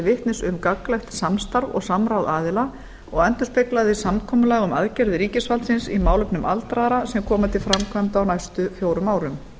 vitnis um gagnlegt samstarf og samráð aðila og endurspeglaði samkomulag um aðgerðir ríkisvaldsins í málefnum aldraðra sem komu til framkvæmda á næstu fjórum árum